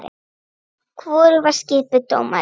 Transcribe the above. Hvorug var skipuð dómari.